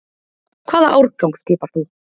Hvaða árgang skipar þú?